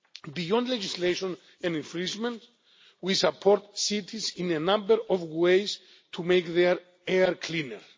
Beyond legislation and infringements, we support cities in a number of ways to make their air cleaner.